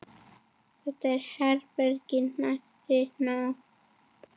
Þetta er hvergi nærri nóg.